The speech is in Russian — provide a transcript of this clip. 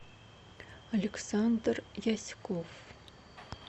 александр яськов